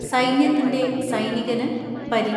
സൈന്യത്തിന്റെ സൈനികന് പരി